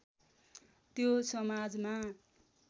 त्यो समाजमा